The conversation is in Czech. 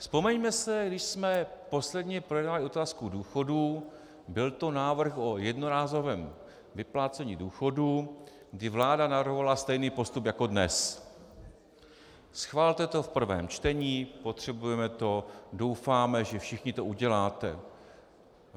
Vzpomeňme si, když jsme posledně projednávali otázku důchodů, byl to návrh o jednorázovém vyplácení důchodu, kdy vláda navrhovala stejný postup jako dnes - schvalte to v prvém čtení, potřebujeme to, doufáme, že všichni to uděláte.